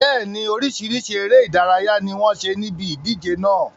Bẹ́ẹ̀ni, oríṣiríṣi ère ìdárayá ni wọn ṣe níbi ìdíje náà